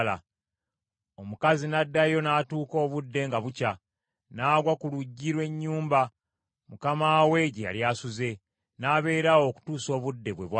Omukazi n’addayo n’atuuka obudde nga bukya, n’agwa ku luggi lw’ennyumba, mukama we gye yali asuze, n’abeera awo okutuusa obudde bwe bwakya.